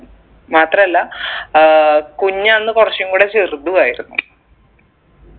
മാത്രല്ല ഏർ കുഞ്ഞ് അന്ന് കുറച്ചും കൂടെ ചെറുതും ആയിരിന്നു